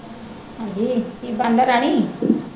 ਹਾਂਜੀ ਕੀ ਬਣਦਾ ਰਾਣੀ?